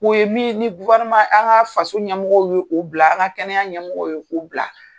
U ye min ye ni an' ŋaa faso ɲɛmɔgɔw ye o bila, an' ŋa kɛnɛya ɲɛmɔgɔw ye k'u bila.